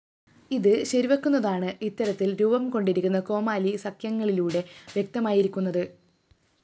ഇത് ശരിവെക്കുന്നതാണ് ഇത്തരത്തില്‍ രൂപം കൊണ്ടിരുക്കുന്ന കോമാലി സഖ്യങ്ങളിലൂടെ വ്യക്തമായിരിക്കുന്നത്